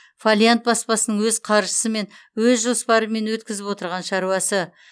фолиант баспасының өз қаржысымен өз жоспарымен өткізіп отырған шаруасы